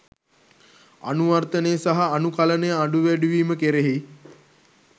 අනුවර්තනය සහ අනුකලනය අඩු වැඩි වීම කෙරෙහි